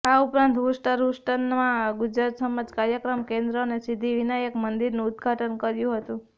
આ ઉપરાંત હ્યુસ્ટન હ્યુસ્ટનમાં ગુજરાત સમાજ કાર્યક્રમ કેન્દ્ર અને સિદ્ધિ વિનાયક મંદિરનું ઉદઘાટન કર્યુ હતું